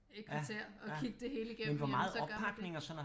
Et kvarter at kigge det hele igennem jamen så gør man det